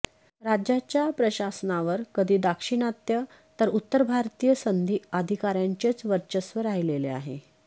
राज्याच्या प्रशासनावर कधी दाक्षिणात्य तर उत्तर भारतीय सनदी अधिकाऱ्यांचेच वर्चस्व राहिलेले आहे